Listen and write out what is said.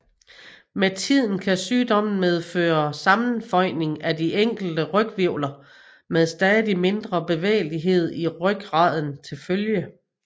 Med tiden kan sygdommen medføre sammenføjning af de enkelte ryghvirvler med stadig mindre bevægelighed i rygraden til følge